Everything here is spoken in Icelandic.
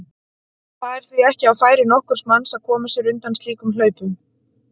Það er því ekki á færi nokkurs manns að koma sér undan slíkum hlaupum.